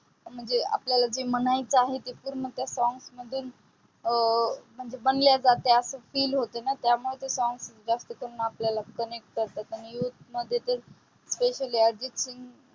म्हणजे जे आपल्याला म्हणायचं आहे पूर्ण त्या songs मध्ये अं म्हणजे मानल्या जाते. असं feel होते ना त्यामुळे ते song ज्यास्त करून आपल्याला connect करतात. आणि youth मध्ये तर specially अर्जित सिंग